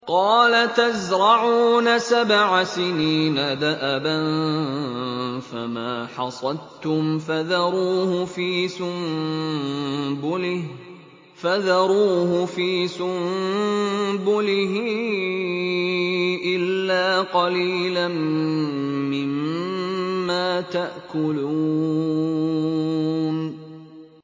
قَالَ تَزْرَعُونَ سَبْعَ سِنِينَ دَأَبًا فَمَا حَصَدتُّمْ فَذَرُوهُ فِي سُنبُلِهِ إِلَّا قَلِيلًا مِّمَّا تَأْكُلُونَ